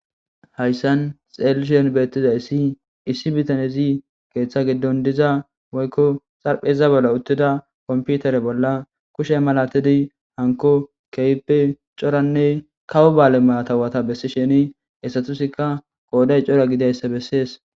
hayssan xeelishien beettiza issi issi bitanezi keeththa giddon diza woykko xarpheza bolla uttida komputare bolla kushe malatidi hanko kehppe coranne kawo baale matawata bessi sheni esatusikka qooday cora gidayssa bessees